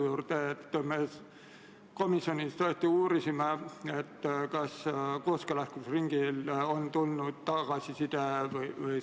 Selle eelnõu esitas Vabariigi Valitsus k.a 10. septembril, eelnõu esimene lugemine toimus 25. septembril.